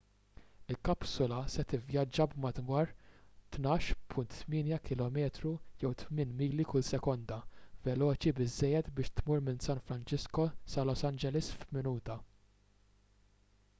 il-kapsula se tivvjaġġa b'madwar 12.8 km jew 8 mili kull sekonda veloċi biżżejjed biex tmur minn san francisco sa los angeles f'minuta